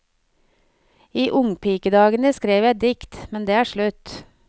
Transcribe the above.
I ungpikedagene skrev jeg dikt, men det er slutt.